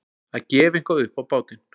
Að gefa eitthvað upp á bátinn